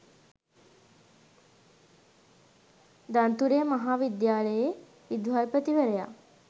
දන්තුරේ මහා විද්‍යාලයේ විදුහල්පතිවරයා